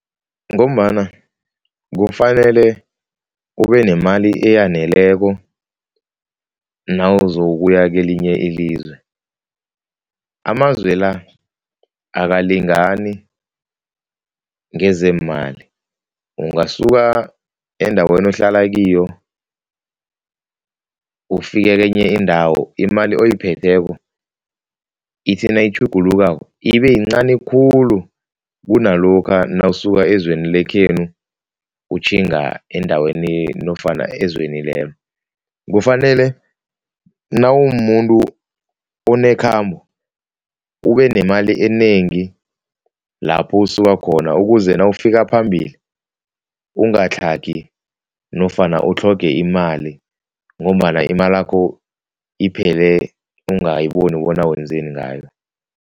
Ngombana kufanele ube nemali eyaneleko nawuzokuya kelinye ilizwe. Amazwe la akalingani ngezeemali, ungasuka endaweni ohlala kiyo ufike kenye indawo imali oyiphetheko ithi nayitjhugulukako ibeyincani khulu kunalokha nawusuka ezweni lekhethu utjhinga endaweni nofana ezweni lelo. Kufanele nawumumuntu onekhambo ubenemali enengi lapho usuka khona ukuze nawufika phambili, ungatlhagi nofana utlhoge imali ngombana imalakho iphele ungayiboni bona wenzeni ngayo.